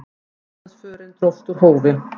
Íslandsförin dróst úr hófi.